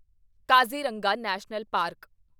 Kaziranga national park